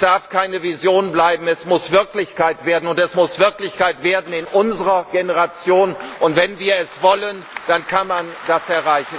darf keine Vision bleiben! Es muss Wirklichkeit werden, und es muss Wirklichkeit werden in unserer Generation! Wenn wir es wollen, dann kann man das erreichen.